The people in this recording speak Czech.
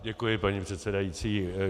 Děkuji, paní předsedající.